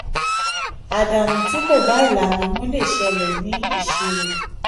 àdánù tí kò bá ìlànà mu lè ṣẹlẹ̀ ní ìṣirò.